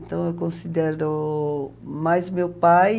Então, eu considero mais meu pai...